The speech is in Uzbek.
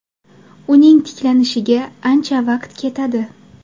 Uning tiklanishiga ancha vaqt ketadi.